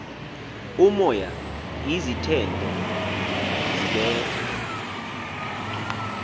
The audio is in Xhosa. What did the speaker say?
umoya izithende zibetha